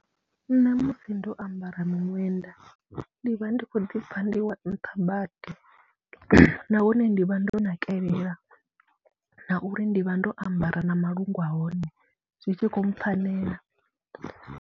Nṋe musi ndo ambara miṅwenda ndi vha ndi khou ḓi pfha ndi wa nṱha badi nahone ndi vha ndo nakelela na uri ndi vha ndo ambara na malungu a hone, zwi tshi khou mpfhanela.